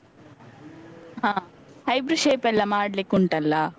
ಹ. eyebrow shape ಎಲ್ಲಾ ಮಾಡ್ಲಿಕುಂಟಲ್ಲ.